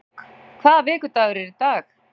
Ísdögg, hvaða vikudagur er í dag?